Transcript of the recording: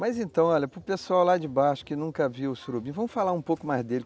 Mas então, olha, para o pessoal lá de baixo que nunca viu o surubim, vamos falar um pouco mais dele.